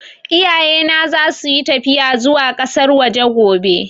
Iyaye na za su yi tafiya zuwa ƙasar waje gobe